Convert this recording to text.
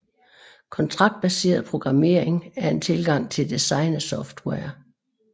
Kontraktbaseret programmering er en tilgang til design af software